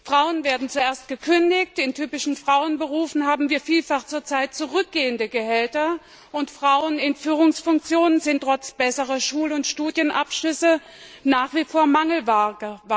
Frauen wird zuerst gekündigt, in typischen Frauenberufen haben wir zur Zeit vielfach zurückgehende Gehälter, und Frauen in Führungsfunktionen sind trotz besserer Schul und Studienabschlüsse nach wie vor Mangelware.